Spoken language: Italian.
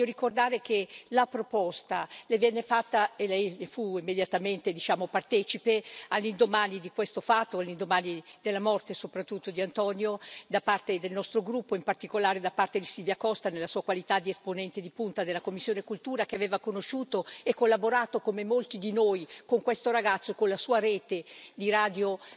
Voglio ricordare che la proposta venne fatta, e Lei ne fu immediatamente partecipe, all'indomani di questo fatto, all'indomani della morte soprattutto di Antonio, da parte del nostro gruppo, in particolare da parte di Silvia Costa nella sua qualità di esponente di punta della commissione per la cultura e l'istruzione, che aveva conosciuto e collaborato, come molti di noi, con questo ragazzo e con la sua rete di radio